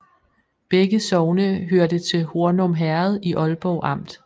Begge sogne hørte til Hornum Herred i Ålborg Amt